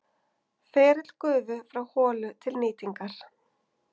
Ferill gufu frá holu til nýtingar